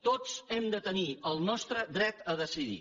tots hem de tenir el nostre dret a decidir